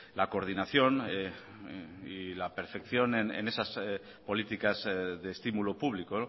la coordinación y la perfección en esas políticas de estímulo público